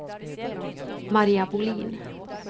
Maria Bohlin